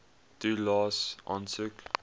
toelaes aansoek